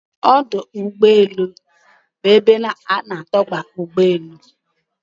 Ọdụ úgbọélụ́ bụ ebe ana adoba ụ́gbọ elụ.